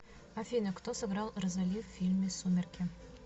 афина кто сыграл розоли в фильме сумерки